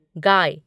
गाय